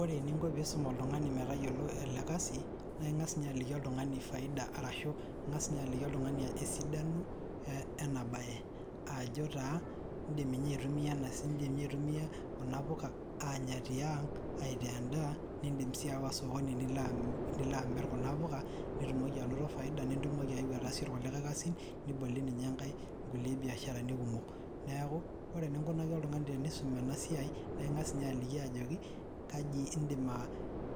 Ore eninko piisum oltung'ani metayiolo ele kasii naa ing'as inye aliki oltung'ani faida arashu ing'as inye aliki oltung'ani esidano ena baye ajo taa iindim inye aitumia kuna puka anyaa tiang' aitaa endaa niindim sii ayawa osokoni nilo amirr kuna puka nitumoki anoto faida nitumokii ayeu ataaasie kulikae kasin nibolie ninye kulie biasharani kumok neeku oree eninkunaki oltung'ani teniisum ena siai naa ing'as inye aliki ajoki kajii iindim aa